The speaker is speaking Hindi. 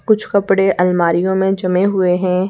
कुछ कपड़े अलमारीयो में जमे हुए हैं।